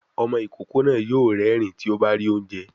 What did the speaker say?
Ọmọ ìkókó náà yóò rérìn-ín tí ó bá rí oúnjẹ